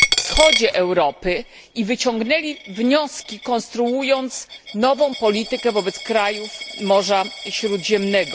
na wschodzie Europy i wyciągnęli wnioski, konstruując nową politykę wobec krajów Morza Śródziemnego.